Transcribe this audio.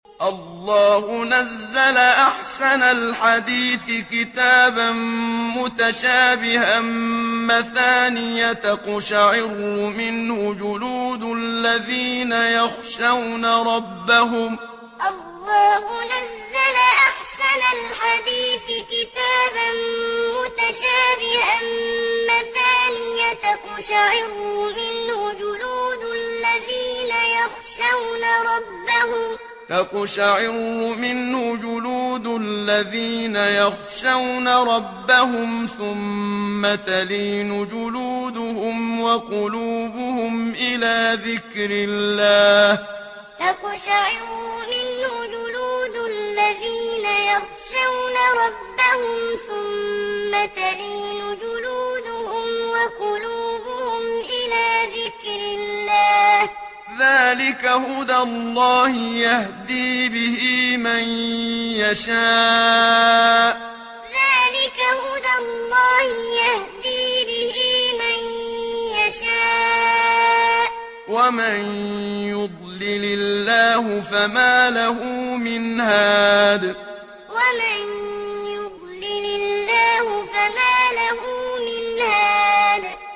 اللَّهُ نَزَّلَ أَحْسَنَ الْحَدِيثِ كِتَابًا مُّتَشَابِهًا مَّثَانِيَ تَقْشَعِرُّ مِنْهُ جُلُودُ الَّذِينَ يَخْشَوْنَ رَبَّهُمْ ثُمَّ تَلِينُ جُلُودُهُمْ وَقُلُوبُهُمْ إِلَىٰ ذِكْرِ اللَّهِ ۚ ذَٰلِكَ هُدَى اللَّهِ يَهْدِي بِهِ مَن يَشَاءُ ۚ وَمَن يُضْلِلِ اللَّهُ فَمَا لَهُ مِنْ هَادٍ اللَّهُ نَزَّلَ أَحْسَنَ الْحَدِيثِ كِتَابًا مُّتَشَابِهًا مَّثَانِيَ تَقْشَعِرُّ مِنْهُ جُلُودُ الَّذِينَ يَخْشَوْنَ رَبَّهُمْ ثُمَّ تَلِينُ جُلُودُهُمْ وَقُلُوبُهُمْ إِلَىٰ ذِكْرِ اللَّهِ ۚ ذَٰلِكَ هُدَى اللَّهِ يَهْدِي بِهِ مَن يَشَاءُ ۚ وَمَن يُضْلِلِ اللَّهُ فَمَا لَهُ مِنْ هَادٍ